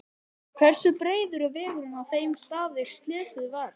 Hversu breiður er vegurinn á þeim stað er slysið varð?